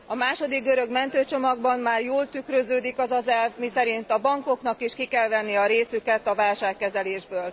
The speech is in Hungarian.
A második görög mentőcsomagban már jól tükröződik az az elv, miszerint a bankoknak is ki kell venni a részüket a válságkezelésből.